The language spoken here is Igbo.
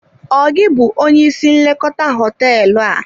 Ọ gị bụ onye isi nlekọta hoteelu a?